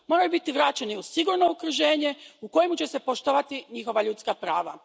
Moraju biti vraćeni u sigurno okruženje u kojemu će se poštovati njihova ljudska prava.